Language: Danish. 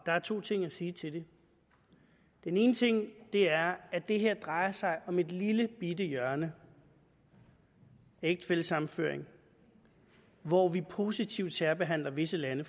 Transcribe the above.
er to ting at sige til det den ene ting er at det her drejer sig om et lillebitte hjørne ægtefællesammenføring hvor vi positivt særbehandler visse lande